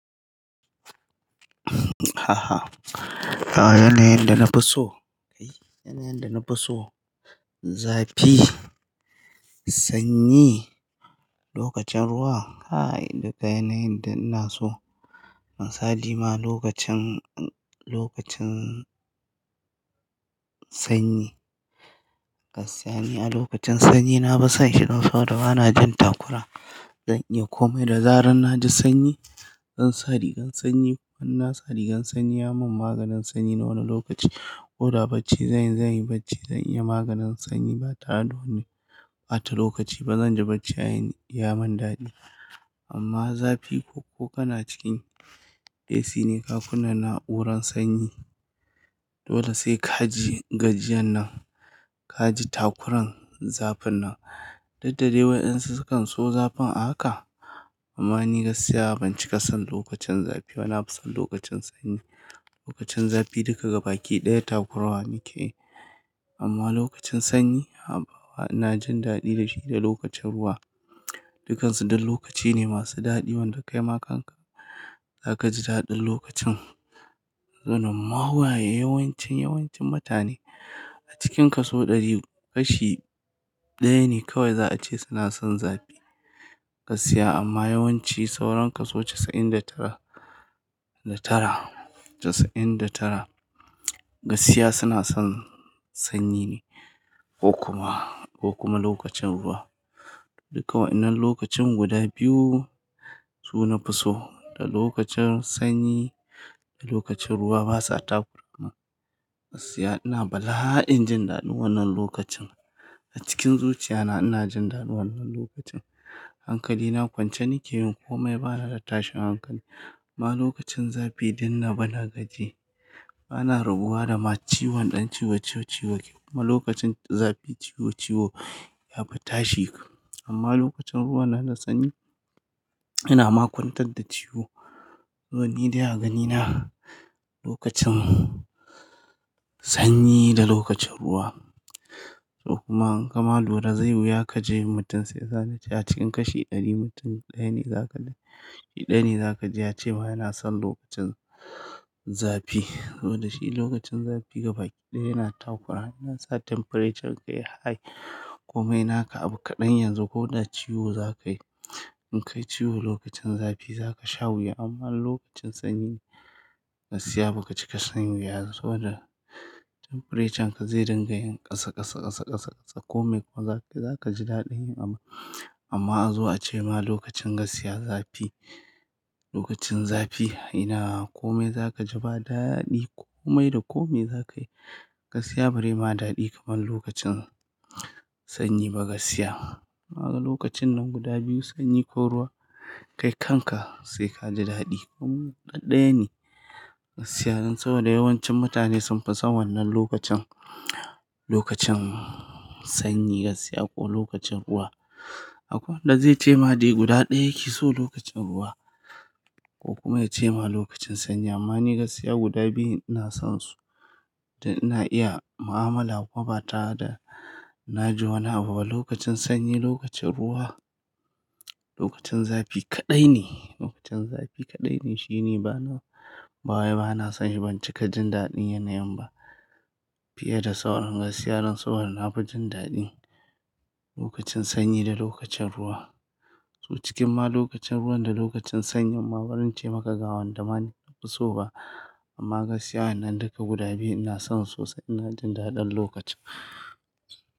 A'a, yanayin da nafi so, yanayin da nafi so zafi, sanyi, lokacin ruwa, kai duka yanayin da ina so. Misali ma lokacin, lokacin sanyi. Gaskiya ni a lokacin sanyi nafi son shi dan saboda ba na jin takura. Zan iya komai da zarar na ji sanyi, zan sa rigar sanyi. Ban na sa rigar sanyi ya mun maganin sanyi na wani lokaci. Ko da bacci zanyi, zanyi bacci zan iya maganin sanyi ba tare da wani ɓata lokaci ba. Zan ji bacci ya mun daɗi. Amma zafi ko kana cikin AC ne ka kunna na'uran sanyi, dole sai ka ji gajiyan nan, ka ji takuran zafin nan. Duk da dai waƴansu sukan so zafin a haka. Amma ni gaskiya ban cika son lokacin zafi ba, nafi son lokacin sanyi. Lokacin zafi duka gaba ki ɗaya takurawa muke yi. Amma lokacin sanyi haba wa ina jin daɗi da shi da lokacin ruwa. Dukansu dan lokaci ne masu daɗi wanda kai ma kanka zaka ji daɗin lokacin. Zan ma waye yawancin, yawancin mutane a cikin kaso ɗari, kashi ɗaya ne kawai za a ce suna son zafi. Gaskiya amma yawanci sauran kaso casa'in da tara, da tara, casa'in da tara gaskiya suna son sanyi ne ko kuma, ko kuma lokacin ruwa. Duka wa'inan lokacin guda biyu su nafi so. Da lokacin sanyi da lokacin ruwa basa takura. Gaskiya ina bala'in jin daɗin wannan lokacin. A cikin zuciya na ina jin daɗin wannan lokacin. Hankali na kwance nike yin komai bana da tashin hankali. Amma lokacin zafi dun nabi na gaji. Bana rabuwa da ma ciwon ɗan ciwo, ciwo, ciwo. Kuma lokacin zafi ciwo, ciwo yafi tashi. Amma lokacin ruwan nan da sanyi, yana ma kwantar da ciwo. To ni dai a ganina lokacin sanyi da lokacin ruwa. Ko kuma in kama lura zai yi wuya ka ji mutum sai zai sani. A cikin kashi ɗari mutum ɗaya ne zaka, shi ɗaya ne zaka ji ya ce ma yana son lokacin zafi. Saboda shi lokacin zafi gaba ki ɗaya yana takura. Yana sa temperaturen ka ya high. Komai naka abu kaɗan yanzu ko da ciwo zaka yi. In ka yi ciwo lokacin zafi zaka sha wuya amma lokacin sanyi gaskiya ba kaci ka shan wuya. Saboda temperaturen ka zai dinga yin ƙasa, ƙasa, ƙasa, ƙasa, ƙasa komai kuma zaka, zaka ji daɗin yi amma, amma a zo a ce ma lokacin gaskiya zafi, lokacin zafi ina komai zaka ji ba daɗi komai da komai zaka yi. Gaskiya bare ma daɗi kamar lokacin sanyi ba gaskiya. Lokacin nan guda biyu sanyi ko ruwa kai kanka sai ka ji daɗi. Um ɗaɗɗaya ne, gaskiya dan saboda yawancin mutane sun fi son wannan lokacin, lokacin sanyi gaskiya ko lokacin ruwa. Akwai wanda zai cema dai guda ɗaya yake so lokacin ruwa ko kuma ya cema lokacin sanyi. Amma ni gaskiya guda biyu ina son su dan ina iya mu'amala ko ba tare da na ji wani abu ba. Lokacin sanyi, lokacin ruwa, lokacin zafi kaɗai ne, lokacin zafi kaɗai ne shine bana, ba wai bana son shi. Ban cika jin daɗin yanayin ba fiye da sauran gaskiya don saboda nafi jin daɗin lokacin sanyi da lokacin ruwa. To cikin ma lokacin ruwan da lokacin sanyi ma baran ce maka gawan da ma nafi so ba. Amma gaskiya wannan duka guda biyu ina son su sosai ina jin daɗin lokacin.